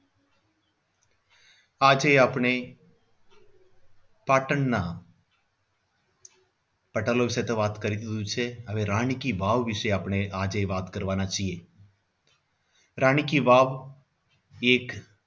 આજે આપણે પાટણના પટોળા વિશે તો વાત કરી દીધું છે હવે રાણી કી વાવ વિશે આજે વાત કરવાના છીએ રાણી કી વાવ એક